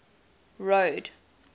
road